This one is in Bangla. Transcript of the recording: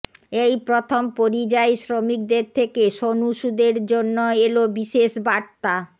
এই প্রথম পরিযায়ী শ্রমিকদের থেকে সোনু সুদের জন্য এল বিশেষ বার্তা